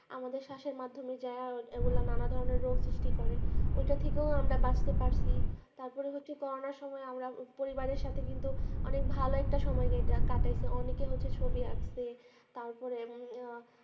আমাদের শ্বাসের মাধ্যমে যা ওই গুলা না না ধরণের রোগ সৃষ্টি করে ঐটা থেকেও আমরা বাঁচতে পারছি তারপরে হচ্ছে করুনার সময় আমরা পরিবারের সাথে কিন্তু অনেক অনেক ভালো একটা সময় কাটাইচ্ছি অনেকে হচ্ছে ছবি আঁকতে তার পরে আহ